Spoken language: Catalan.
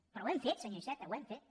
però ho hem fet senyor iceta ho hem fet